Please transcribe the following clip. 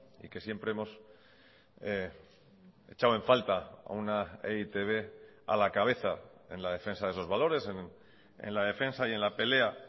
y que siempre hemos echado en falta a una e i te be a la cabeza en la defensa de esos valores en la defensa y en la pelea